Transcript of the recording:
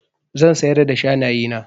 Zan siyar da shanaye na.